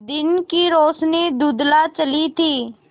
दिन की रोशनी धुँधला चली थी